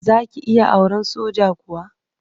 Za ki iya auren sojan ruwa?